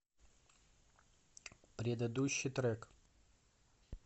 предыдущий трек